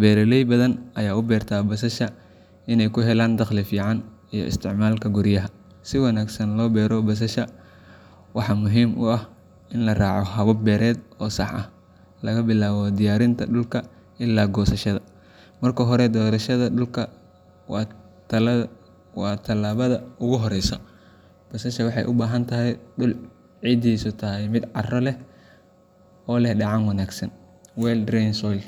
Beeraley badan ayaa u beerta basasha inay ka helaan dakhli fiican iyo isticmaalka guryaha. Si wanaagsan loo beero basasha, waxaa muhiim ah in la raaco habab beereed oo sax ah laga bilaabo diyaarinta dhulka ilaa goosashada. Marka hore, doorashada dhulka waa tallaabada ugu horreysa. Basasha waxay u baahan tahay dhul ciiddiisu tahay mid carro leh oo leh dheecaan wanaagsan well drained soil.